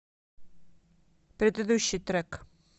предыдущий трек